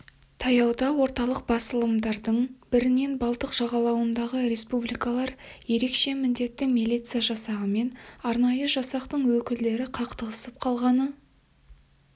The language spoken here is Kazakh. таяуда орталық басылымдардың бірінен балтық жағалауындағы республикалар ерекше міндетті милиция жасағы мен арнайы жасақтың өкілдері қақтығысып қалғаны